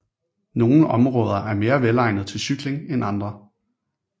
Nogle områder er mere velegnede til cykling end andre